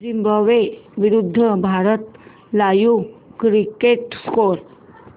Zimbabwe विरूद्ध Bharat live cricket score